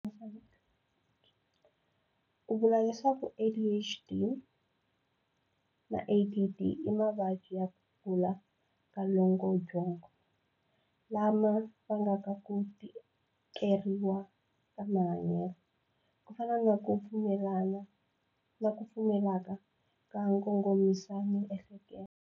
U vule leswaku ADHD na ADD i mavabyi ya ku kula ka longobyongo lama vangaka ku tikeriwa ka mahanyelo, ku fana na ku pfumaleka ka nkongomisamiehleketo.